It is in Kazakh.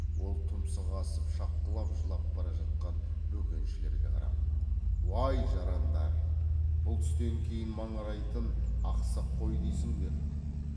ол тұмсық асып шапқылап жылап бара жатқан бөкеншілерге қарап уай жарандар бұл түстен кейін маңырайтын ақсақ қой дейсіңдер